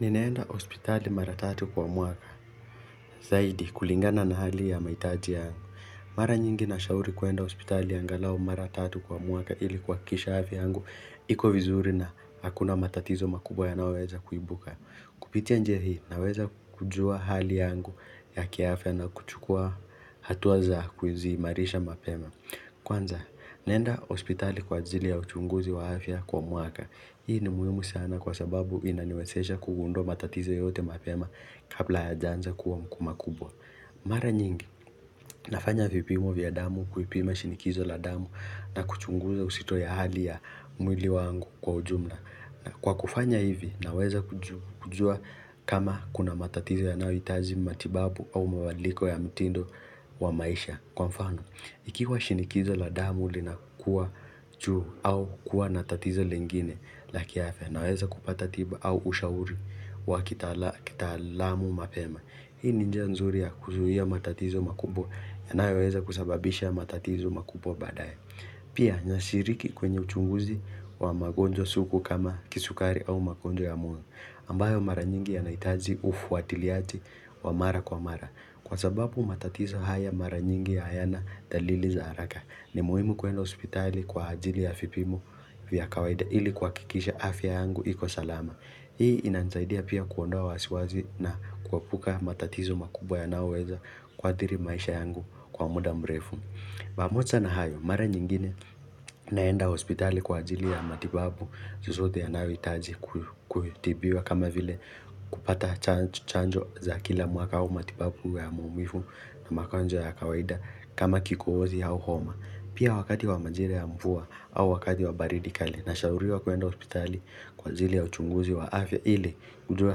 Ninaenda hospitali mara tatu kwa mwaka, zaidi kulingana na hali ya mahitaji yangu. Mara nyingi nashauri kuenda hospitali angalau mara tatu kwa mwaka ili kuhakikisha afya yangu iko vizuri na hakuna matatizo makubwa yanayoweza kuibuka. Kupitia njia hii naweza kujua hali yangu ya kiafya na kuchukua hatua za ku ziimarisha mapema. Kwanza, naenda hospitali kwa ajili ya uchunguzi wa afya kwa mwaka. Hii ni muhimu sana kwa sababu inaniwezesha kugundua matatizo yoyote mapema kabla hayajaanza kuwa makubwa Mara nyingi, nafanya vipimo vya damu, kuipima shinikizo la damu na kuchunguza uzito wa hali ya mwili wangu kwa ujumla. Kwa kufanya hivi, naweza kujua kama kuna matatizo yanayohitaji matibabu au mabadiliko ya mtindo wa maisha. Kwa mfano, ikiwa shinikizo la damu lina kuwa juu au kuwa na tatizo lingine la kiafya naweza kupata tiba au ushauri wa kitaalamu mapema. Hii ni njia nzuri ya kuzuia matatizo makubwa yanayoweza kusababisha matatizo makubwa baadaye. Pia, nashiriki kwenye uchunguzi wa magonjwa sugu kama kisukari au magonjwa ya moyo. Ambayo mara nyingi yanahitaji ufuatiliaji wa mara kwa mara. Kwa sababu matatizo haya mara nyingi hayana dalili za haraka, ni muhimu kwenda hospitali kwa ajili ya vipimo vya kawaida ili kuhakikisha afya yangu iko salama. Hii inanisaidia pia kuondoa wasiwasi na kuepuka matatizo makubwa yanayoweza kuadhiri maisha yangu kwa muda mrefu. Pamija na hayo, mara nyingine naenda hospitali kwa ajili ya matibabu yoyote yanayohitaji kutibiwa kama vile kupata chanjo za kila mwaka au matibabu ya maumivu na magonjwa ya kawaida kama kikozi au homa. Pia wakati wa majira ya mvua au wakati wa baridi kali nashauriwa kwenda hospitali kwa ajili ya uchunguzi wa afya ili nijue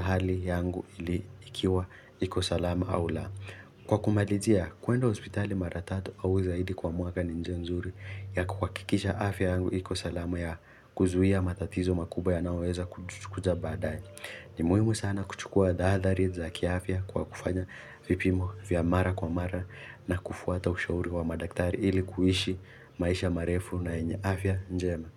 hali yangu ili ikiwa iko salama au la. Kwa kumalizia, kwenda hospitali mara tatu au zaidi kwa mwaka ni njia nzuri ya kuhakikisha afya yangu iko salama ya kuzuia matatizo makubwa yanayoweza kuja baadae. Ni muhimu sana kuchukua taahadhari za kiafya kwa kufanya vipimo vya mara kwa mara na kufuata ushauri wa madaktari ili kuishi maisha marefu na yenye afya njema.